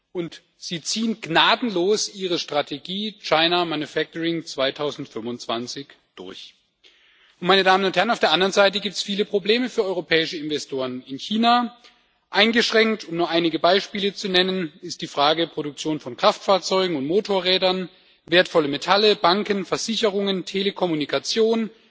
Und sie ziehen gnadenlos ihre Strategie China manufacturing 2025 durch. Auf der anderen Seite gibt es viele Probleme für europäische Investoren in China Eingeschränkt, um nur einige Beispiele zu nennen, ist die Frage der Produktion von Kraftfahrzeugen und Motorrädern, wertvolle Metalle, Banken, Versicherungen, Telekommunikation